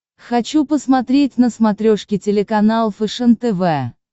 хочу посмотреть на смотрешке телеканал фэшен тв